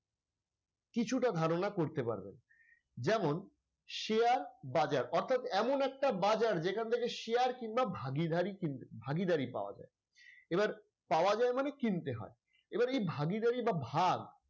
কিছুটা ধারণা করতে পারবেন যেমন share বাজার অর্থাৎ এমন একটা বাজার যেখান থেকে share কিংবা ভাগীদারি পাওয়ার যায় এবার পাওয়া যায় মানে কিনতে হয় এবার ভাগীদারি বা ভাগ,